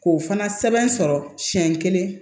K'o fana sɛbɛn sɔrɔ siɲɛ kelen